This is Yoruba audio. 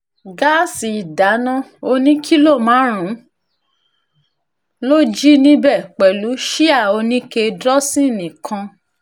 gáàsì ìdáná ọ̀nì kìlọ̀ márùn-ún ló jí níbẹ̀ pẹ̀lú síà oníke dósinni kan